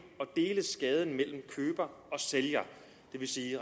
og dele skaden mellem køber og sælger det vil sige